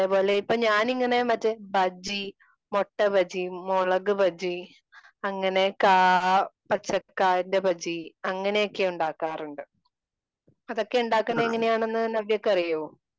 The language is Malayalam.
അതേ പോലെ ഇപ്പോ ഞാനിങ്ങനെ ബജി ,മൊട്ട ബജി, മുളക് ബജി അങ്ങനെ കാ പച്ചക്കായിന്റെ ബജി അങ്ങനെ ഒക്കെ ഉണ്ടാക്കാറുണ്ട്. അതൊക്കെ ഉണ്ടാക്കുന്നത് എങ്ങനെയെന്ന് നവ്യയ്ക്ക് അറിയോ?